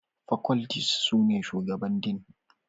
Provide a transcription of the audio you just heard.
Faculties sune Shugaban Dean